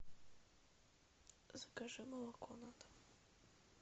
закажи молоко на дом